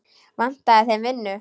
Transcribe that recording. Vantaði þeim vinnu?